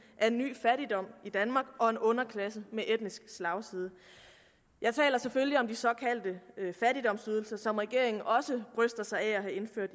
af en ny fattigdom i danmark og en underklasse med etnisk slagside jeg taler selvfølgelig om de såkaldte fattigdomsydelser som regeringen også bryster sig af at have indført